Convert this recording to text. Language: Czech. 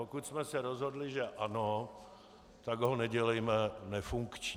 Pokud jsme se rozhodli, že ano, tak ho nedělejme nefunkční.